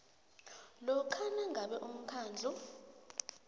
lokha nangabe umkhandlu